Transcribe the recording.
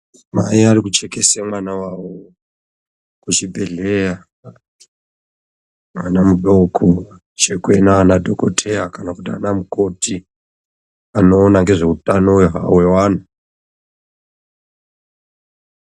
Mai ari kuchekese mwana wawo kuchibhedhleya, mwana mudoko, zvekuita anadhokodheya kana kuti ana mukoti, anoona ngezve utano hawo hweanthu.